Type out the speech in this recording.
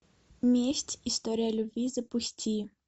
месть история любви запусти